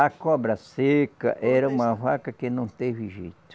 A cobra seca era uma vaca que não teve jeito.